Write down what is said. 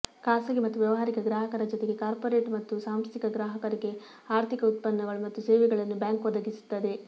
ಖಾಸಗಿ ಮತ್ತು ವ್ಯವಹಾರಿಕ ಗ್ರಾಹಕರ ಜೊತೆಗೆ ಕಾರ್ಪೋರೇಟ್ ಮತ್ತು ಸಾಂಸ್ಥಿಕ ಗ್ರಾಹಕರಿಗೆ ಆರ್ಥಿಕ ಉತ್ಪನ್ನಗಳು ಮತ್ತು ಸೇವೆಗಳನ್ನು ಬ್ಯಾಂಕ್ ಒದಗಿಸುತ್ತದೆ